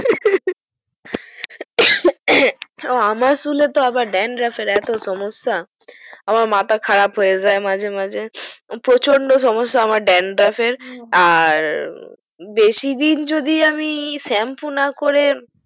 আমার চুলে তো আবার dandruff এর এত সমস্যা আমার মাথা খারাপ হয়ে যাই মাঝে মাঝে প্রচন্ড সমস্যা আমার dandruff এর আর বেশিদিন যদি আমি shampoo না করে